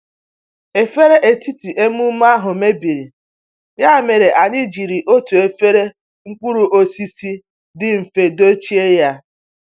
Efere etiti emume ahụ mebiri, ya mere anyị jiri otu efere mkpụrụ osisi dị mfe dochie ya